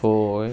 Foi.